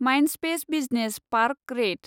Mindspace business park रेइत